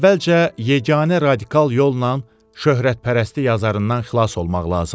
Əvvəlcə yeganə radikal yolla şöhrətpərəstlik azarından xilas olmaq lazımdır.